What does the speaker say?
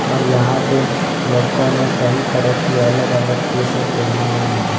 और यहां पे लड़कों ने कई तरह की अलग अलग टी शर्ट पहनी हुई है।